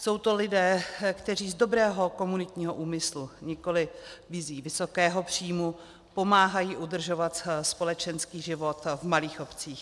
Jsou to lidé, kteří z dobrého komunitního úmyslu, nikoli vizí vysokého příjmu, pomáhají udržovat společenský život v malých obcích.